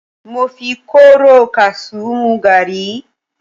Mo fi kóóró kasú mú gàárì.